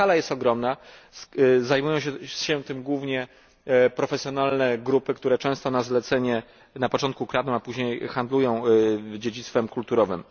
Skala jest ogromna, zajmują się tym głównie profesjonalne grupy, które często na zlecenie na początku kradną, a później handlują dziedzictwem kulturowym.